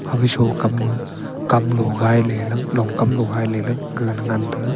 aga shokam ma kamlo gai le lah long kam lo gai le gagan ngan tega.